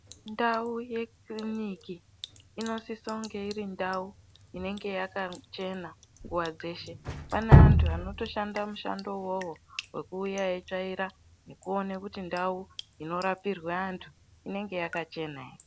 Ndau yekiriniki inosisonge iri ndau inenge yakachena nguva dzeshe. Pane antu anotoshanda mushano ivovo vekuuya eitsvaira nekuone kuti ndau inorapirwe antu inenge yakachena ere.